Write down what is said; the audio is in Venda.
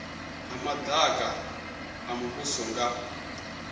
ha madaka a muvhuso nga